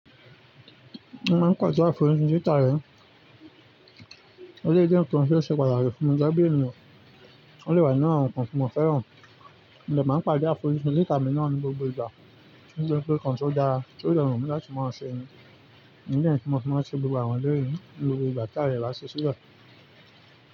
Ṣé o máa ń pàdé àfojúsùn títà rẹ̀. Eléyí jẹ́ nǹkan tí ó ṣe pàtàkì fún mi gẹ́gẹ́ bí ènìyàn. Ó dẹ̀ wà nínú àwọn nǹkan tí mo fẹ́ràn. Mo dẹ̀ máa ń pàdé àfojúsùn títà mi náà ní gbogbo ìgbà, nítorí pé nǹkan tí ó dára, tí ó dẹ̀ rọ̀mí lọ́rùn láti máa ṣe ni. Ìdí nìyẹn ti no fi máa ń ṣe gbogbo àwọn eléyìí ní gbogbo ìgbà tí ayé bá sí sílẹ̀.